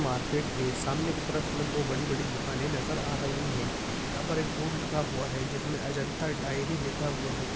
Market है। सामने की तरफ में दो बड़ी-बड़ी दुकाने नज़र आ रही है। यहा पर एक बोर्ड लगा हुआ है जिसमे अजंता डायरी लिखा हुआ है।